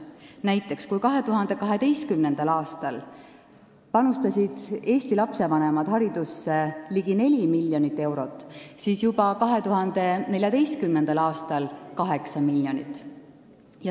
Näiteks, kui 2012. aastal panustasid Eesti lastevanemad haridusse ligi 4 miljonit eurot, siis 2014. aastal juba 8 miljonit.